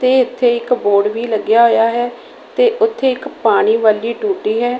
ਤੇ ਇੱਥੇ ਇੱਕ ਬੋਰਡ ਵੀ ਲੱਗਿਆ ਹੋਇਆ ਹੈ ਤੇ ਉੱਥੇ ਇੱਕ ਪਾਣੀ ਵਾਲੀ ਟੂਟੀ ਹੈ।